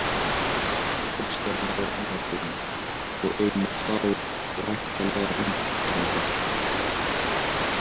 Kristján Már Unnarsson: Og einnig þá væntanlega landeigenda?